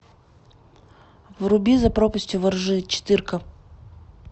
вруби за пропастью во ржи четырка